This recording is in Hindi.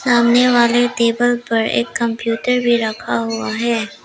सामने वाले टेबल पर एक कंप्यूटर भी रखा हुआ है।